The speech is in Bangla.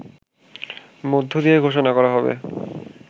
মধ্য দিয়ে ঘোষণা করা হবে